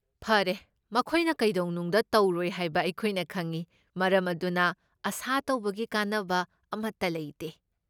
ꯐꯔꯦ, ꯃꯈꯣꯏꯅ ꯀꯩꯗꯧꯅꯨꯡꯗ ꯇꯧꯔꯣꯏ ꯍꯥꯏꯕ ꯑꯩꯈꯣꯏꯅ ꯈꯪꯏ, ꯃꯔꯝ ꯑꯗꯨꯅ ꯑꯥꯁꯥ ꯇꯧꯕꯒꯤ ꯀꯥꯟꯅꯕ ꯑꯃꯠꯇ ꯂꯩꯇꯦ ꯫